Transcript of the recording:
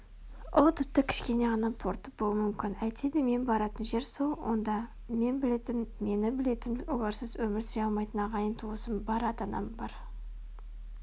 ол тіпті кішкене ғана порт болуы мүмкін әйтседе мен баратын жер сол онда мен білетін мені білетін оларсыз өмір сүре алмайтын ағайын-туысым бар ата-анам бар